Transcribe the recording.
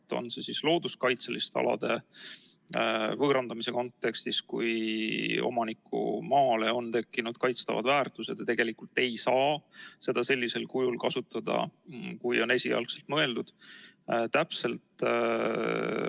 See võib olla näiteks looduskaitseliste alade võõrandamise kontekstis, kui omaniku maale on tekkinud kaitstavad väärtused ja omanik ei saa seda maad enam sellisel kujul, nagu esialgu mõeldud, kasutada.